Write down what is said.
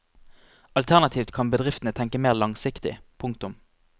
Alternativt kan bedriftene tenke mer langsiktig. punktum